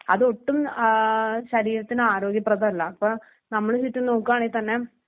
അതൊട്ടും ഏഹ് ശരീരത്തിനാരോഗ്യപ്രഥമല്ല. അപ്പോ നമ്മുടെ ചുറ്റും നോക്കുവാണേൽ തന്നെ